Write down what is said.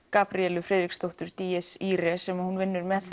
Gabríelu Friðriksdóttur sem hún vinnur með